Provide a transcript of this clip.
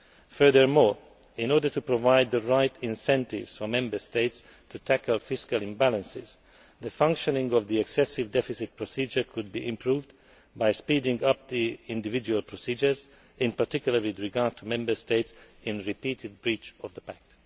Furthermore, in order to provide the right incentives for Member States to tackle fiscal imbalances, the functioning of the excessive deficit procedure could be improved by speeding up the individual procedures, in particular, with regard to Member States in repeated breach of the pact.